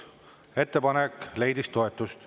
Ettepanek leidis toetust.